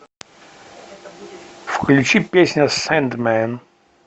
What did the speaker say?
включи песня сэндмэн